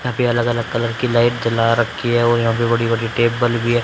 यहां पे अलग अलग कलर की लाइट जला रखी है और यहां पे बड़ी बड़ी टेबल भी है।